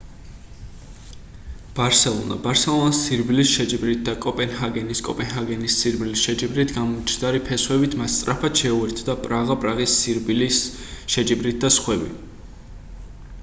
ბარსელონა ბარსელონას სირბილის შეჯიბრით და კოპენჰაგენი კოპენჰაგენის სირბილის შეჯიბრით გამჯდარი ფესვებით მას სწრაფად შეუერთდა პრაღა პრაღის სირბილის შეჯიბრით და სხვები